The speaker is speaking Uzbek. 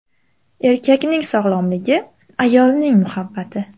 Erkakning sog‘lomligi – ayolning muhabbati!.